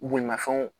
Bolimafɛnw